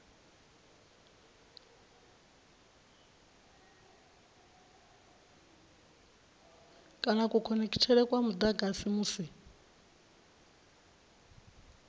kana kukhonekhithele kwa mudagasi musi